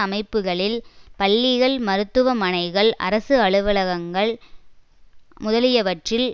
அமைப்புகளில் பள்ளிகள் மருத்துவ மனைகள் அரசு அலுவலகங்கள் முதலியவற்றில்